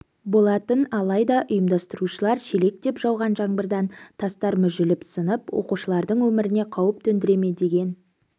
болатын алайда ұйымдастырушылар шелектеп жауған жаңбырдан тастар мүжіліп сынып оқушылардың өміріне қауіп төндіре ме деген